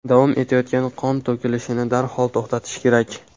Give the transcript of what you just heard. Davom etayotgan qon to‘kilishini darhol to‘xtatish kerak.